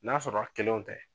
N'a sɔrɔra kelenw tɛ